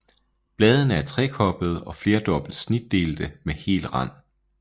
Bladene er trekoblede og flerdobbelt snitdelte med hel rand